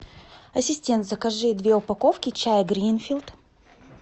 ассистент закажи две упаковки чая гринфилд